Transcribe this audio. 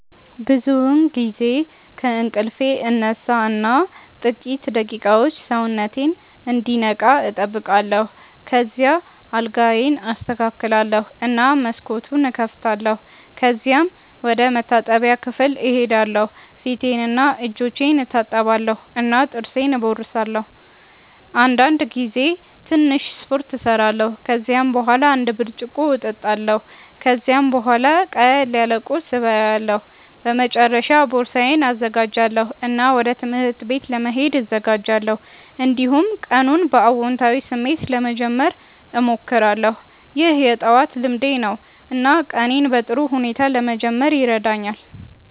ብዙውን ጊዜ ከእንቅልፌ እነሳ እና ጥቂት ደቂቃዎች ሰውነቴን እንዲነቃ እጠብቃለሁ። ከዚያ አልጋዬን አስተካክላለሁ እና መስኮቱን እከፍታለሁ። ከዚያም ወደ መታጠቢያ ክፍል እሄዳለሁ ፊቴንና እጆቼን እታጠባለሁ እና ጥርሴን እቦርሳለሁ። አንዳንድ ጊዜ ትንሽ ስፖርት እሰራለሁ። ከዚያ በኋላ አንድ ብርጭቆ እጠጣለሁ። ከዚያም ቡሃላ ቅለል ያለ ቁርስ እበላለሁ። በመጨረሻ ቦርሳዬን እዘጋጃለሁ እና ወደ ትምህርት ቤት ለመሄድ እዘጋጃለሁ። እንዲሁም ቀኑን በአዎንታዊ ስሜት ለመጀመር እሞክራለሁ። ይህ የጠዋት ልምዴ ነው እና ቀኔን በጥሩ ሁኔታ ለመጀመር ይረዳኛል።